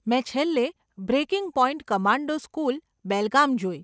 મેં છેલ્લે 'breaking point commando school, Belgaum' જોઈ.